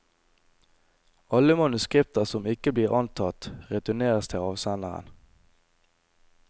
Alle manuskripter som ikke blir antatt, returneres til avsenderen.